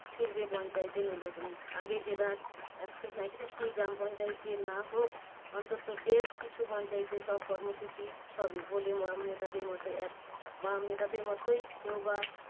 ফিরবে পঞ্চায়েতের নির্বাচনে। আগে জেলার একশো সাঁইত্রিশটি গ্রামপঞ্চায়েতে না হোক অন্তত বেশকিছু পঞ্চায়েতে সব কর্মসূচি হবে বলে বাম নেতাদের মতো এক বাম নেতাদের মতোই কেউ বা